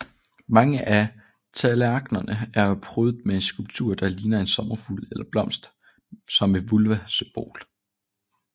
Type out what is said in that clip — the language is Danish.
Mange af tallerknerne er prydet med en skulptur der ligner en sommerfugl eller blomst som et vulvasymbol